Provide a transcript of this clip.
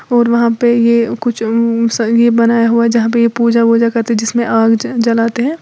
और वहां पे ये कुछ संगीत बनाया हुआ है जहाँ पे पूजा वूजा करते हैं जिसमें आग जलते हैं।